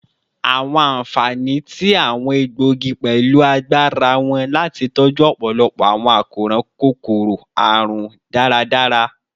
Awọn anfani ti awọn egboogi pẹlu agbara wọn lati tọju ọpọlọpọ awọn akoran kokoro-arun daradara